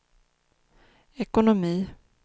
ekonomi